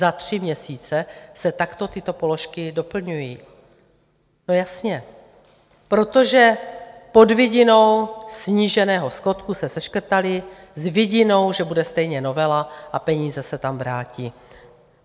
Za tři měsíce se takto tyto položky doplňují - no jasně, protože pod vidinou sníženého schodku se seškrtaly, s vidinou, že bude stejně novela a peníze se tam vrátí.